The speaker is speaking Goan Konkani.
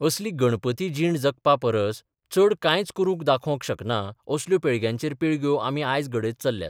असली गणपती जीण जगपापरस चड कांयच करून दाखोवंक शकना असल्यो पिळग्यांचेर पिळग्यो आमी आज घडयत चल्ल्यात.